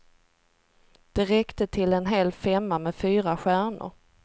Det räckte till en hel femma med fyra stjärnor.